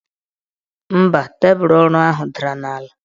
Mba, tebụl ọrụ ahụ dara n' ala.